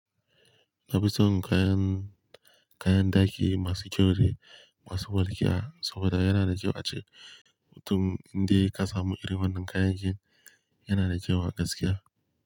Na fi son kayan, kayan ɗaki masu kyau de, masu walƙiya saboda yana da kyau ace mutun dai ka samu irin wannan kayan ki, yana da kyau a gaskiya.